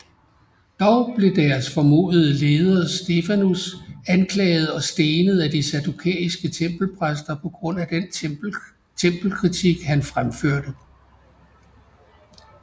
Dog blev deres formodede leder Stefanus anklaget og stenet af de saddukæiske tempelpræster på grund af den tempelkritik han fremførte